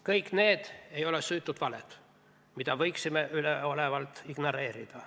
Kõik need ei ole süütud valed, mida võiksime üleolevalt ignoreerida.